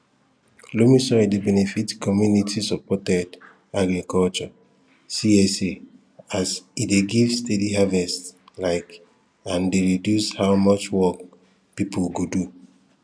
loamy soil dey benefit communitysupported agriculture csa as e dey give steady harvest um and dey reduce how much work pipu go do